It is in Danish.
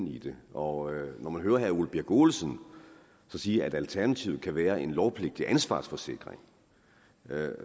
i det og når man hører herre ole birk olesen sige at alternativet kan være en lovpligtig ansvarsforsikring